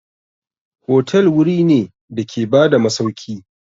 hotel wuri ne da ke bada masauki.